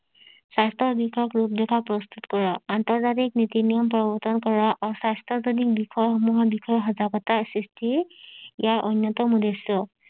স্বাস্থ্য বিষয়ক ৰোগ প্ৰস্তুত কৰা আন্তৰ্জাতিক নীতি নিয়াম প্ৰৱৰ্তন কৰা আৰু স্বাস্থ্য জনিত বিষয় সমূহৰ বিষয়ে সজাগতা সৃষ্টি ইয়াৰ অন্যতম উদ্দেশ্য